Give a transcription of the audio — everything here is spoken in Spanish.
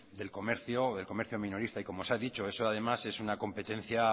del comercio del comercio minorista y como se ha dicho eso es